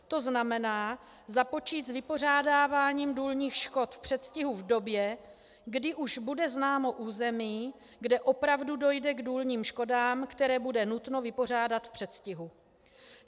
To znamená, započít s vypořádáváním důlních škod v předstihu v době, kdy už bude známo území, kde opravdu dojde k důlním škodám, které bude nutno vypořádat v předstihu.